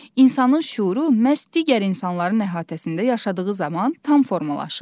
İnsanın şüuru məhz digər insanların əhatəsində yaşadığı zaman tam formalaşır.